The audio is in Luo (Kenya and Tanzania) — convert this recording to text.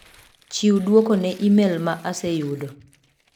Chiw duoko ne imel ma aseyudo.